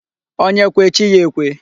Onye kwe, chi ya ekwe.